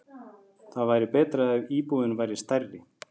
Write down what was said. Það væri betra ef íbúðin væri stærri.